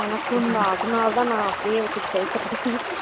எனக்கும் தான் அதுனால தான் நான் அப்படியே வச்சு பேசுறது